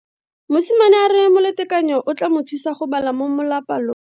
Mosimane a re molatekanyo o tla mo thusa go bala mo molapalo.